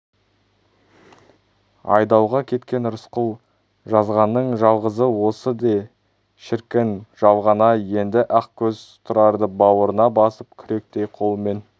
айдауға кеткен рысқұл жазғанның жалғызы осы де шіркін жалған-ай енді ақкөз тұрарды бауырына басып күректей қолымен